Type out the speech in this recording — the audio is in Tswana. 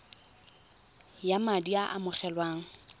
ya madi a a amogelwang